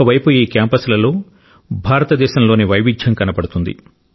ఒక వైపు ఈ క్యాంపస్లలో భారతదేశం లోని వైవిధ్యం కనబడుతుంది